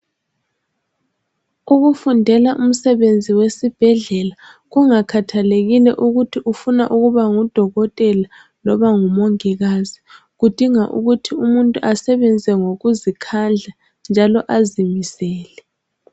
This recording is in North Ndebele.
Ukufundela umsebenzi wesibhedlela kungakhathalekile ukuthi ufuna ukuba ngudokotela loba ngumongikazi .Kudinga ukuthi umuntu asebenze ngokuzikhandla njalo azimisele .